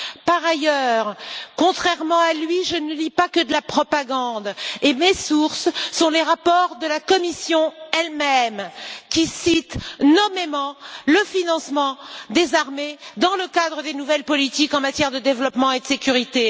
Par ailleurs, contrairement à lui, je ne lis pas que de la propagande et mes sources sont les rapports de la Commission elle même, qui cite nommément le financement des armées dans le cadre des nouvelles politiques en matière de développement et de sécurité.